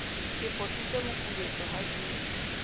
ke fositse mokubetso ha ke